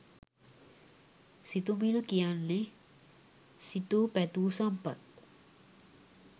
සිතුමිණ කියන්නේ සිතූ පැතූ සම්පත්